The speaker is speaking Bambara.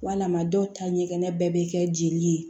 Walima dɔw ta ɲɛgɛn bɛɛ bɛ kɛ jeli ye